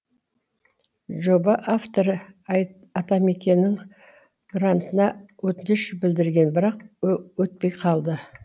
жоба авторы атамекеннің грантына өтініш білдірген бірақ өтпей қалды